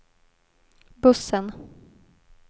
bussen